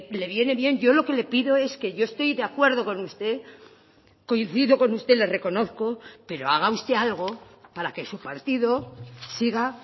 le viene bien yo lo que le pido es que yo estoy de acuerdo con usted coincido con usted le reconozco pero haga usted algo para que su partido siga